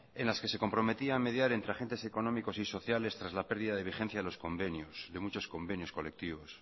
en las que se comprometía mediar entre agentes económicos y sociales tras la pérdida de vigencia de muchos convenios colectivos